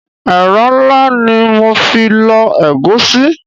Ẹ̀rọ ńlá ni mo fi lọ egusi.